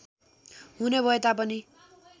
हुने भए तापनि